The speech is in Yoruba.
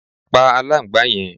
pa aláǹgbàá yẹn!